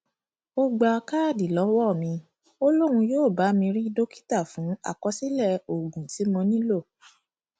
ó gba káàdì lọwọ mi ó lóun yóò bá mi rí dókítà fún àkọsílẹ oògùn tí mo nílò